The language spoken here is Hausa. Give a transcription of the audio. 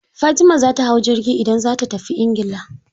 Fatima za ta hau jirgi idan za ta tafi ingila.